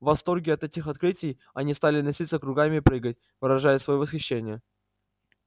в восторге от этих открытий они стали носиться кругами и прыгать выражая своё восхищение